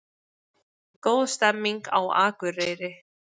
Góð stemning á Akureyri